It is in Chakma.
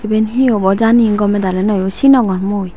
ebane he obow jani gomay dalay noyo sinogor mui.